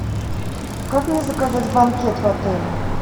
как мне заказать банкет в отеле